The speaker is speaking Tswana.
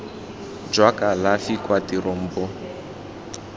jwa kalafi kwa tirong bo